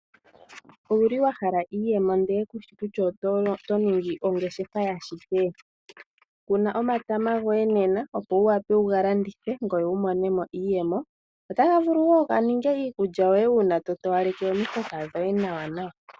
Owu li wa hala iiyemo ndele kushi kutya oto ningi ongeshefa ya shike? Kuna omatama goye nena opo wu wape wuga landithe, ngoye wu mone mo iiyemo. Otaga vulu wo ga ninge iikulya yoye uuna to towaleke omihoka dhoye nawanawa.